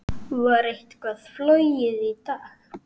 Var eitthvað flogið í dag?